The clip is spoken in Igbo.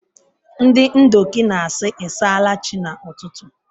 Ndị Ndoki na-asị “I s’ala Chi” n’ụtụtụ.